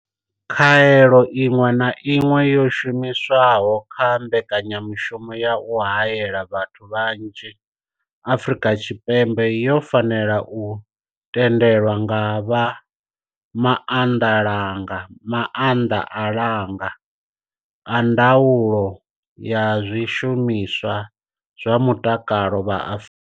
Khaelo iṅwe na iṅwe yo shumiswaho kha mbekanyamushumo ya u haela vhathu vhanzhi Afrika Tshipembe yo fanela u tendelwa nga vha maanḓalanga a ndaulo ya zwishumiswa zwa mutakalo vha Afrika.